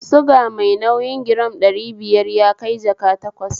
Suga mai nauyi giram ɗari biyar yakai jaka takwas